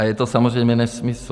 A je to samozřejmě nesmysl.